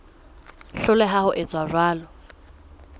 hloleha ho etsa jwalo ho